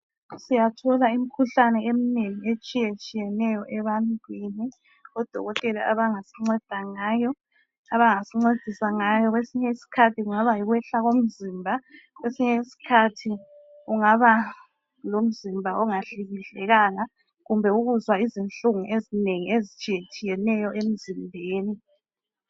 Siyathola imikhuhlane emnengi etshiyetshiyeneyo ebantwini. Odokotela abangasinceda ngayo, abangasincedisa ngayo kwesinye isikhathi kungaba yikwehla komzimba kwesinye isikhathi kungaba lomzimba ongahlikihlekanga kumbe ukuzwa izihlungu ezinengi ezitshiyetshiyeneyo emzimbeni.